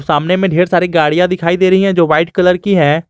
सामने में ढेर सारी गाड़ियां दिखाई दे रही है जो वाइट कलर की है।